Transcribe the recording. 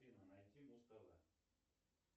афина найди муз тв